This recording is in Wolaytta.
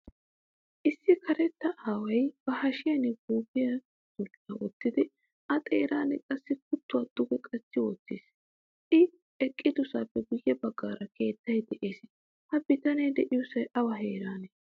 Issi karetta aaway ba hashshiyan guufiyaa dulla wottidi a xeeran qassi kuttuwaa duge qachchi wottiis. I eqqidosappe guye baggaara keettay de'ees. Ha bitane deiyosay awa heerane?